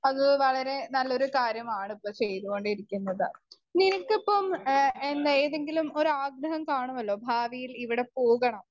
Speaker 1 അത് വളരെ നല്ലൊരു കാര്യമാണ് ഇപ്പൊ ചെയ്തോണ്ടിരിക്കുന്നത്. നിനക്കിപ്പം എ ഏതെങ്കിലും ഒരാഗ്രഹം കാണുമല്ലോ ഭാവിയിൽ ഇവിടെ പോകണം